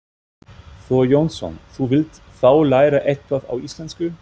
Þór Jónsson: Þú vilt þá læra eitthvað á íslensku?